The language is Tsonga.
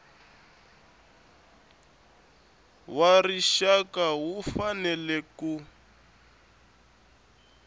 wa rixaka wu fanele ku